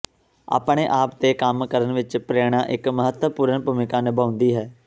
ਆਪਣੇ ਆਪ ਤੇ ਕੰਮ ਕਰਨ ਵਿੱਚ ਪ੍ਰੇਰਣਾ ਇੱਕ ਮਹੱਤਵਪੂਰਨ ਭੂਮਿਕਾ ਨਿਭਾਉਂਦੀ ਹੈ